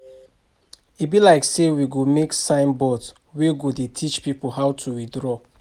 E be like say we go make sign board wey go dey teach people how to withdraw